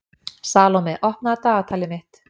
Salome, opnaðu dagatalið mitt.